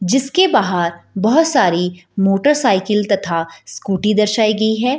जिसके बहार बहुत सारी मोटर साइकिल तथा स्कूटी दर्शाई गई है |